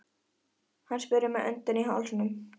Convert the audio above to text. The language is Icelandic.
Hann spurði með öndina í hálsinum.